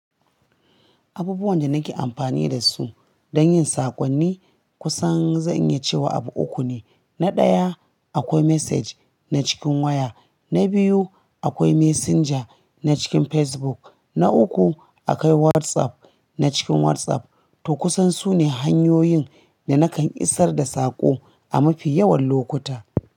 Abubuwan da nake amfani da su don yin sakonni kusan zan iya cewa abu uku ne. Na ɗaya akwai message na cikin waya, na biyu akwai messenger na cikin Facebook, na uku akwai WhatsApp na cikin WhatsApp. To kusan sune hanyoyin da nakan isar da saƙo a mafi yawan lokuta.